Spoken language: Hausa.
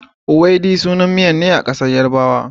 Ewedu sanan nan miya ne a ƙasar yarabawa.